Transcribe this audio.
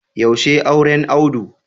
Yaushe auren Audu?